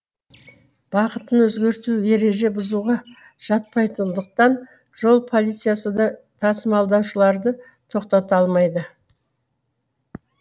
бағытын өзгерту ереже бұзуға жатпайтындықтан жол полициясы да тасымалдаушыларды тоқтата алмайды